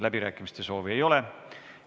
Läbirääkimiste soovi ei ole.